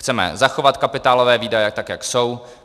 Chceme zachovat kapitálové výdaje tak, jak jsou.